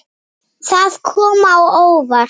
Það kom á óvart.